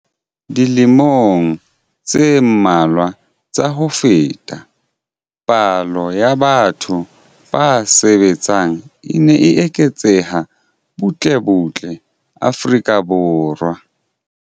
Dilemong tse mmalwa tsa ho feta, palo ya batho ba sa sebetseng e ne e eketseha butle butle Afrika Borwa.